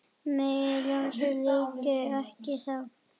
Megi ljósið lýsa ykkur veginn.